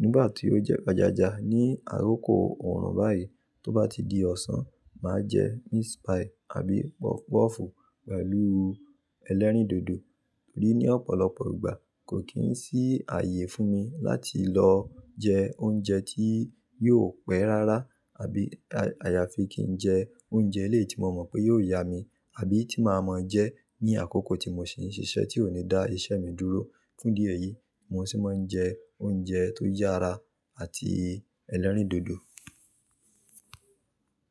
Nígbà tí ó jẹ́ ọ̀jàjà ní àrókò oòrùn báyìí, tó bá ti di ọ̀sán, màá jẹ́ meat pie àbí pọfupọ́ọ̀fù pẹ̀lú ẹlẹ́rìndòdò. Torí ní ọ̀pọ̀lọpọ̀ ìgbà kò kín sí ààyè fún mi láti lọ jẹ oúnjẹ tí yóò pẹ́ rárá àbí àyàfi kí n jẹ oúnjẹ ilé tí mo mọ̀ pé yóò yá mi àbí tí màá mọ jẹ́ ní àkókò tí mò ní ṣíṣẹ́ tí ò ní dá ìṣe mi dúró. Fún dí eyìí, mò sí máa ń jẹ oúnjẹ tó yára àti ẹlẹ́rìndòdò.